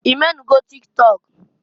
I menugo tik tọk?